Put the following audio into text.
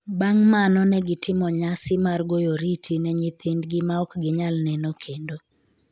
bang’ mano ne gitimo nyasi mar goyo oriti ne nyithindgi ma ok ginyal neno kendo.